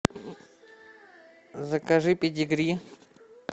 закажи педигри